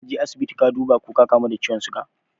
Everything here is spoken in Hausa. Kaje asibiti ka duba ko ka kamu da ciwon siga?